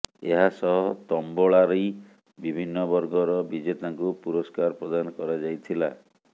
ଏହାସହ ତମ୍ବୋଳା ରି ବିଭିନ୍ନ ବର୍ଗର ବିଜେତାଙ୍କୁ ପୁରସ୍କାର ପ୍ରଦାନ କରାଯାଇଥିଲା